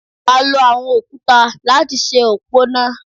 A lo àwọn òkúta láti ṣe òpó náà.